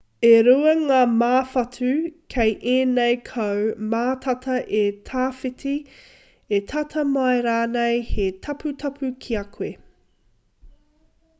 e rua ngā māwhatu kei ēnei kau mātata e tawhiti e tata mai rānei he taputapu ki a koe